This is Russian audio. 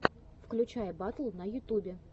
включай батл на ютубе